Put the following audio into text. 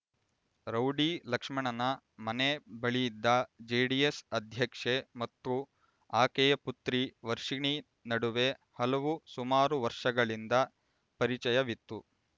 rowdy ಲಕ್ಷ್ಮಣನ ಮನೆ ಬಳಿಯಿದ್ದ ಜೆಡಿಎಸ್ ಅಧ್ಯಕ್ಷೆ ಮತ್ತು ಆಕೆಯ ಪುತ್ರಿ ವರ್ಷಿಣಿ ನಡುವೆ ಹಲವು ಸುಮಾರು ವರ್ಷಗಳಿಂದ ಪರಿಚಯವಿತ್ತು